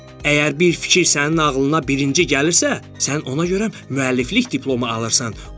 Əgər bir fikir sənin ağlına birinci gəlirsə, sən ona görə müəlliflik diplomu alırsan.